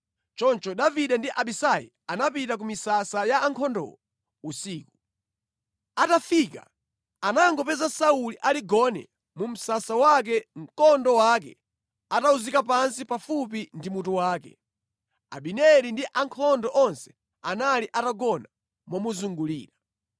Choncho Davide ndi Abisai anapita ku misasa ya ankhondowo usiku. Atafika anangopeza Sauli ali gone mu msasa wake mkondo wake atawuzika pansi pafupi ndi mutu wake, Abineri ndi ankhondo onse anali atagona momuzungulira.